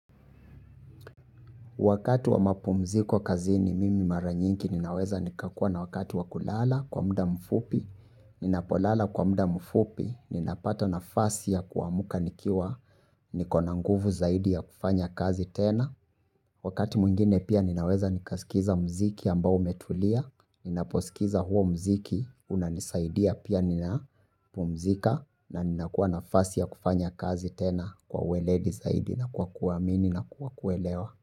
Wakati wa mapumziko kazi ni mimi maranyinki ninaweza nikakua na wakati wa kulala kwa muda mfupi, ninapolala kwa muda mfupi, ninapato na fasi ya kuamuka nikiwa, nikonanguvu zaidi ya kufanya kazi tena. Wakati mungine pia ninaweza nikaskiza mziki ambao umetulia, ninaposikiza huo mziki, unanisaidia pia ninapumzika na ninakuwa na fasi ya kufanya kazi tena kwa ueledi zaidi na kwa kuamini na kwa kuelewa.